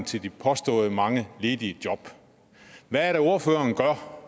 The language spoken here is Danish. til de påståede mange ledige job hvad er det ordføreren gør